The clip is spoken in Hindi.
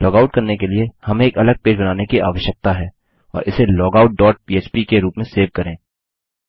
लॉगआउट करने के लिए हमें एक अलग पेज बनाने की आवश्यकता है और इसे लॉगआउट डॉट पह्प के रूप में सेव करें